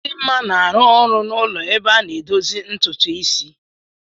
Chidinma na-arụ ọrụ n'ụlọ ebe a na-edozi ntutu isi.